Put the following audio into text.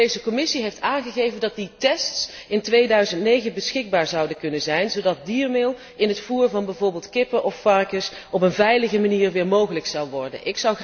De Europese Commissie heeft aangegeven dat die tests in 2009 beschikbaar zouden kunnen zijn, zodat diermeel in het voer van bijvoorbeeld kippen of varkens weer op een veilige manier mogelijk zal worden.